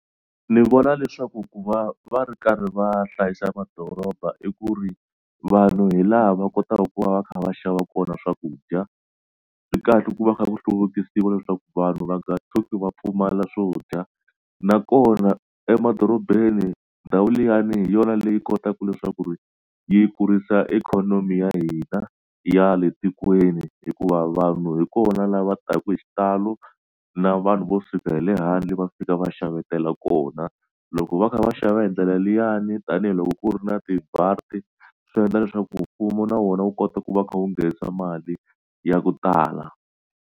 Ni vona leswaku ku va va ri karhi va hlayisa madoroba i ku ri vanhu hi laha va kotaka ku va va kha va xava kona swakudya. Swi kahle ku va kha ku hluvukisiwa leswaku vanhu va nga tshuki va pfumala swo dya nakona emadorobeni ndhawu liyani hi yona leyi kotaka leswaku ri yi kurisa ikhonomi ya hina ya le tikweni hikuva vanhu hi kona lava taka hi xitalo na vanhu vo suka hi le handle va fika va xavetela kona. Loko va kha va xava hi ndlela liyani tanihiloko ku ri na swi endla leswaku mfumo na wona wu kota ku va u kha u nghenisa mali ya ku tala.